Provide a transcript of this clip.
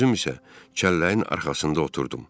Özüm isə kəlləyin arxasında oturdum.